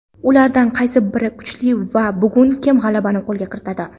ulardan qaysi biri kuchli va bugun kim g‘alabani qo‘lga kiritadi?.